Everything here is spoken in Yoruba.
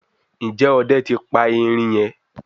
Njé Òde tí pa erin yen?